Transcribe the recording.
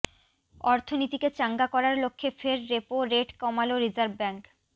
অর্থনীতিকে চাঙ্গা করার লক্ষ্যে ফের রেপো রেট কমাল রিজার্ভ ব্যাঙ্ক